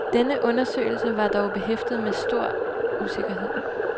Denne undersøgelse var dog behæftet med stor usikkerhed.